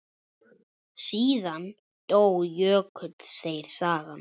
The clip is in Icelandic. Síðan dó Jökull, segir sagan.